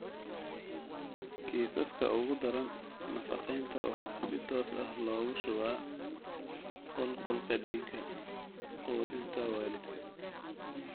Kiisaska ugu daran, nafaqeynta waxaa si toos ah loogu shubaa qulqulka dhiigga (quudinta waalidka).